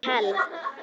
Held ég.